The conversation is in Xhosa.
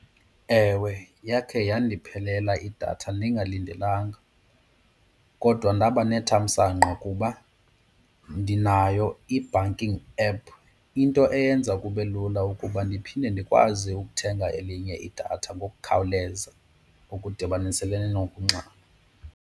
Ewe, yakhe yandiphelela idatha ndingalindelanga. Kodwa ndaba nethamsanqa kuba ndinayo i-banking app, into eyenza kube lula ukuba ndiphinde ndikwazi ukuthenga elinye idatha ngokukhawuleza okudibaniselene nokunxama.